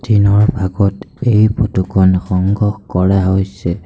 দিনৰ ভাগত এই ফটোখন সংগ্ৰহ কৰা হৈছে।